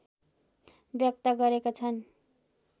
व्यक्त गरेका छन्